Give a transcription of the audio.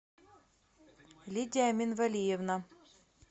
лидия минвалиевна